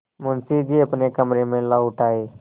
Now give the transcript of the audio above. मुंशी जी अपने कमरे में लौट आये